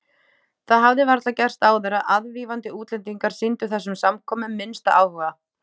Það hafði varla gerst áður að aðvífandi útlendingar sýndu þessum samkomum minnsta áhuga.